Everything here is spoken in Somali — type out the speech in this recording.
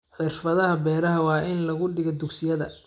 Xirfadaha beeraha waa in lagu dhigaa dugsiyada.